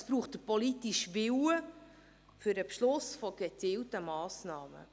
Es braucht den politischen Willen für das Beschliessen gezielter Massnahmen.